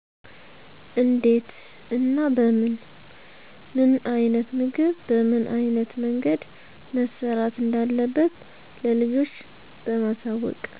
እንዴት እና በምን፣ ምን አይነት ምግብ በምን አይነት መንገድ መሰራት እንዳለበት ለልጆች በማሳወቅ።